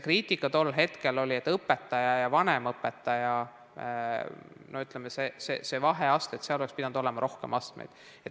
Kriitika tol hetkel oli, et õpetaja ja vanemõpetaja vaheastmeid oleks pidanud olema rohkem.